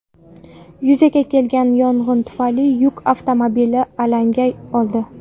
Yuzaga kelgan yong‘in tufayli yuk avtomobili alanga oldi.